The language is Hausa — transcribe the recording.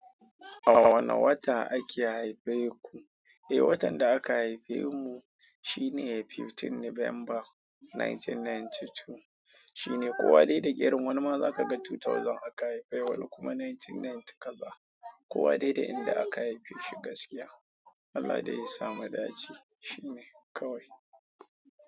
A wane wata ake haife ku? Eh, watan da aka haife mu shine 15 November 1992. Shine kowa dai da irin wani ma za kaga 2000 aka haifai wani kuma 1990 kaza. Ko wa dai da yanda aka haife shi gaskiya. Allah da yasa mu dace shine kawai.